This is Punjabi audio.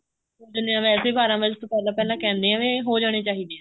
ਵੈਸੇ ਬਾਰਾਂ ਵਜੇ ਤੋਂ ਪਹਿਲਾਂ ਪਹਿਲਾਂ ਕਹਿੰਦੇ ਆ ਵੀ ਹੋ ਜਾਣੇ ਚਾਹੀਦੇ ਆ